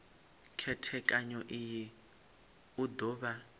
khethekanyo iyi u do vha